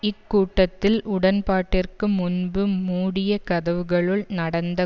இக்கூட்டத்தில் உடன்பாட்டிற்கு முன்பு மூடிய கதவுகளுள் நடந்த